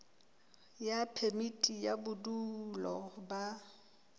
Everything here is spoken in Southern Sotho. ya phemiti ya bodulo ba